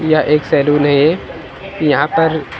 यह एक सैलून है यहां पर--